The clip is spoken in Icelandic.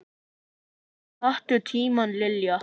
Taktu tímann Lilla!